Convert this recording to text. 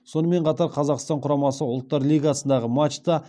сонымен қатар қазақстан құрамасы ұлттар лигасындағы матчта